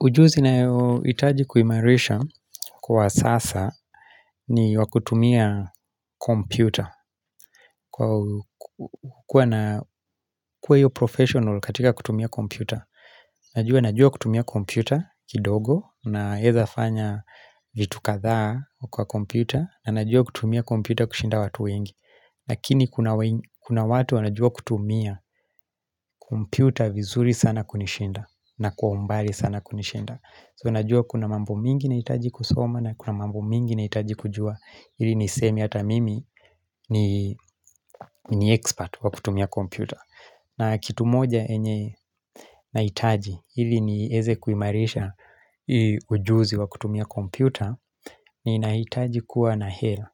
Ujuzi nayohtaji kuimarisha kwa sasa ni wa kutumia kompyuta. Kuwa hiyo professional katika kutumia kompyuta. Najua najua kutumia kompyuta kidogo naeza fanya vitu kadhaa kwa kompyuta. Najua kutumia kompyuta kushinda watu wengi. Lakini we kuna watu wanajua kutumia kompyuta vizuri sana kunishinda na kwa umbali sana kunishinda. So, najua kuna mambo mingi nahitaji kusoma na kuna mambo mingi nahitaji kujua Ili niseme hata mimi ni ni expert wa kutumia kompyuta na kitu moja enye nahitaji, ili nieze kuimarisha ujuzi wa kutumia kompyuta Ninahitaji kuwa na hela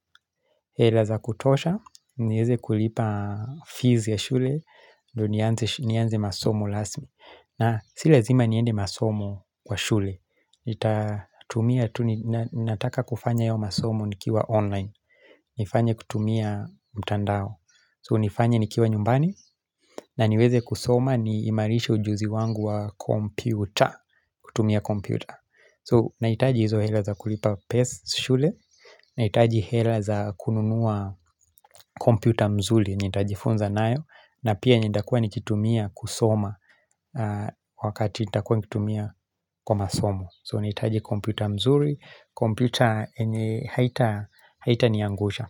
hela za kutosha, nieze kulipa fees ya shule, ndo nianze masomo rasmi na si lazima niende masomo kwa shule nitatu Nataka kufanya hiyo masomo nikiwa online nifanya kutumia mtandao So nifanye nikiwa nyumbani na niweze kusoma niimarishe ujuzi wangu wa kompyuta kutumia kompyuta So nahitaji hizo hela za kulipa pesa shule Nahitaji hela za kununua kompyuta mzuli Nitajifunza nayo na pia nitakuwa nikitumia kusoma Wakati nitakua nikitumia kwa masomo so nahitaji kompyuta mzuri, kompyuta haitaniangusha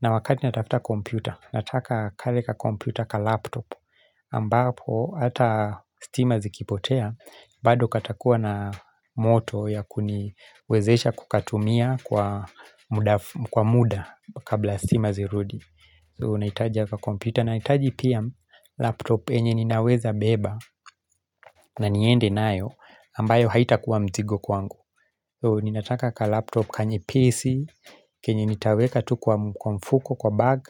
na wakati natafuta kompyuta, nataka kale kakompyuta ka laptop ambapo hata stima zikipotea bado katakuwa na moto ya kuniwezesha kukatumia kwa mda fu kwa mda kabla stima zirudi so nahitaji haka kakompyuta, nahitaji pia laptop yenye ninaweza beba na niende nayo, ambayo haitakuwa mzigo kwangu So ninataka ka laptop, kanyepesi, kenye nitaweka tu kwa kwa mfuko, kwa bag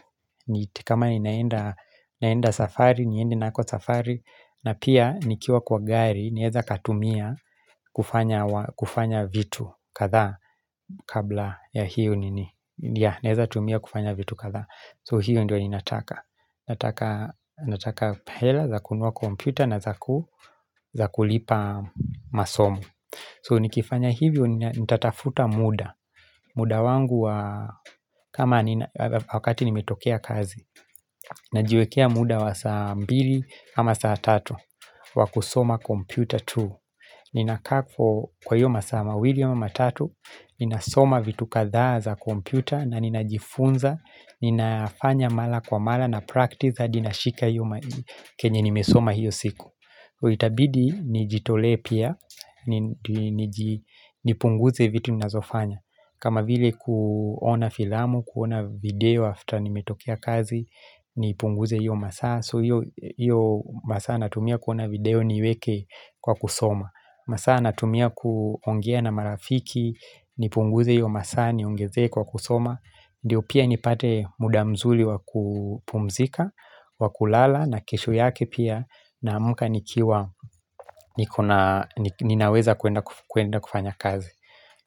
ni kama ninaenda naenda safari, niende nako safari na pia nikiwa kwa gari, naeza katumia kufanya wa kufanya vitu kadha kabla ya hiyo nini, naeza tumia kufanya vitu kadhaa So hiyo ndio ninataka Nataka hela za kunua kompyuta na za za kulipa masomo So nikifanya hivyo ni nitatafuta mda mda wangu wa kama ni wakati nimetokea kazi Najiwekea mda wa saa mbili ama saa tatu wa kusoma kompyuta tu Ninakaa for kwa hiyo masaa mawili wa matatu Ninasoma vitu kadhaa za kompyuta na ninajifunza Ninafanya mala kwa mala na practice hadi nashika hiyo kenye nimesoma hiyo siku itabidi nijitolee pia Nipunguze vitu ninazofanya kama vile kuona filamu, kuona video after nimetokea kazi Nipunguze hiyo masaa So hiyo masaa natumia kuona video niweke kwa kusoma masaa natumia kuongea na marafiki Nipunguze hiyo masaa niongeze kwa kusoma Ndiyo pia nipate mda mzuli wa kupumzika wa kulala na kesho yake pia naamka nikiwa ninaweza kuenda kuenda kufanya kazi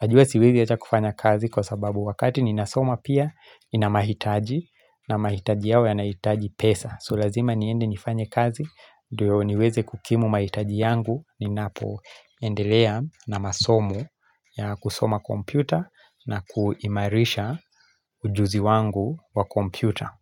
Najua siwezi acha kufanya kazi kwa sababu wakati ninasoma pia nina mahitaji na mahitaji yao yanahitaji pesa So lazima niende nifanye kazi ndiyo niweze kukimu mahitaji yangu Ninapoendelea na masomo ya kusoma kompyuta na kuimarisha ujuzi wangu wa kompyuta.